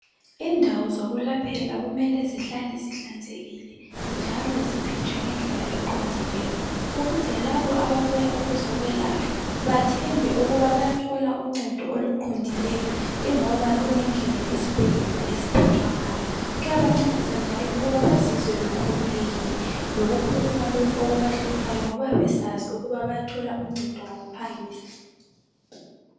Indawo zokulaphela kumele zihlale zihlanzekile, njalo ziphethwe ngendlela eqondileyo. Ukuze labo ababuya ukuzokwelatshwa bathembe ukuba bayathola uncedo oluqondileyo. lngoba kungendlela usibhedlela esiyabe siphethwe ngayo. Kuyabancedisa njalo ukuthi bazizwe bekhululekile, Lokukhuluma lokho okubahluphayo, ingoba besazi ukuthi bayathola uncedo ngokuphangisa.